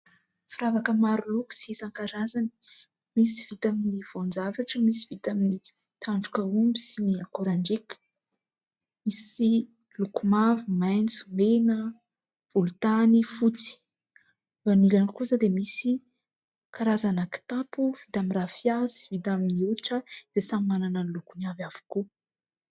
Firavaka maro loko sy isan-karazany. Misy vita amin'ny voan-javatra, misy vita amin'ny tandroka omby sy ny akoran-driaka. Misy loko mavo, maitso, mena, volontany, fotsy. Ny ilany kosa dia misy karazana kitapo vita amin'ny rafia sy vita amin'ny hoditra dia samy manana ny lokony avy avokoa.